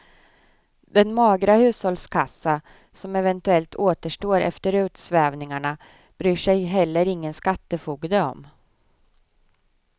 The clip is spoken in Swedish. Den magra hushållskassa som eventuellt återstår efter utsvävningarna bryr sig heller ingen skattefogde om.